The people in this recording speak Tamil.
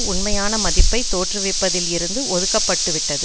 உண்மையான மதிப்பைத் தோற்றுவிப்பதில் இருந்து ஒதுக்க பட்டு விட்டது